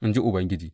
in ji Ubangiji.